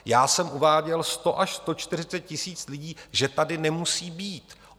Já jsem uváděl 100 až 140 tisíc lidí, že tady nemusí být.